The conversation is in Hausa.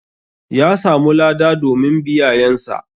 Ƴa samu lada domin biyayan sa.